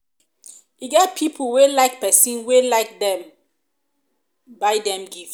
e get pipo wey like make pesin wey like dem buy dem gifts